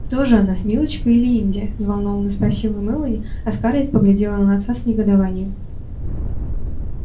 кто же она милочка или индия взволнованно спросила мелани а скарлетт поглядела на отца с негодованием